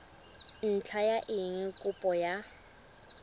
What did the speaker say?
ntlha ya eng kopo ya